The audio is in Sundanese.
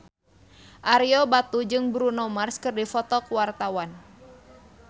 Ario Batu jeung Bruno Mars keur dipoto ku wartawan